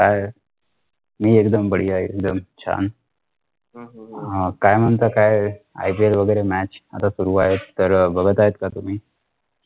काय मी एकदम बाढीया एकदम छान काय म्हणता काय IPL वैगेरे match आता सुरु आहेत तर बघत आहे का तुम्ही